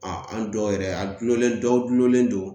Aa an dɔw yɛrɛ, a gulonlen dɔw gulonlen don.